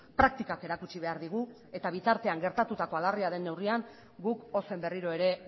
praktikak erakutsi behar digu eta bitartean gertatutakoa larria den neurrian guk ozen berriro ere